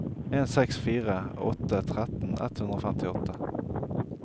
en seks fire åtte tretten ett hundre og femtiåtte